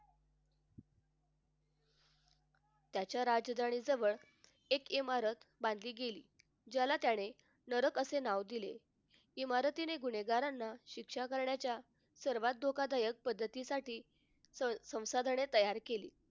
त्याच्या राजधानी जवळ एक इमारत बांधली गेली ज्याला त्याने नरक असे नाव दिले. इमारतीने गुन्हेगारांना शिक्षा करण्याच्या सर्वात धोकादायक पद्धतीसाठी संस्कारांनी तयार केली.